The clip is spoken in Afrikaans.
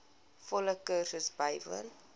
volle kursus bywoon